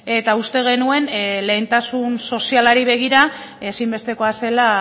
eta uste genuen lehentasun sozialari begira ezinbestekoa zela